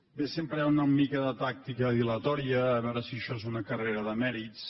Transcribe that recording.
bé sempre hi ha una mica de tàctica dilatòria a veure si això és una carrera de mèrits